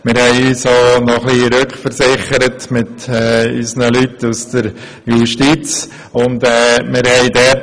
Daneben haben wir uns mit unseren Leuten aus der Justiz unterhalten.